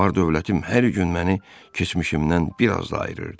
Var-dövlətim hər gün məni keçmişimdən biraz ayırırdı.